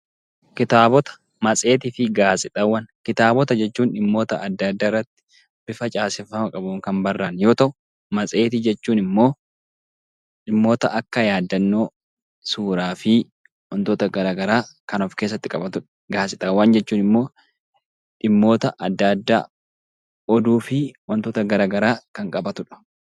Kitaabota jechuun dhimmoota adda addaa irratti bifa caaseffama qabuun kan barraa'e yoo ta'u, matseetii jechuun immoo dhimmoota akka yaadannoo suuraa fi wantoota garaagaraa kan of keessatti qabatudha. Gaazexaawwan jechuun immoo dhimmoota adda addaa oduu fi wantoota garaagaraa kan qabatudha.